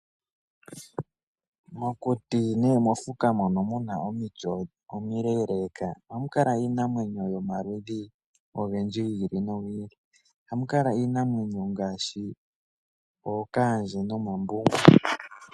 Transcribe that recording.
Mokuti nenge mofuka mono muna omiti omile ohakukala iinamwenyo oyindji yomaludhi gi ili nogi ili. Ohamu kala iinamwenyo ngaashi ookandje nomambungu.